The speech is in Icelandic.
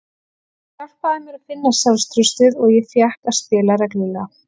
Það hjálpaði mér að finna sjálfstraustið og ég fékk að spila reglulega.